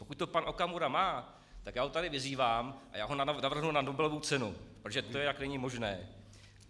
Pokud to pan Okamura má, tak já ho tady vyzývám, a já ho navrhnu na Nobelovu cenu, protože to jinak není možné.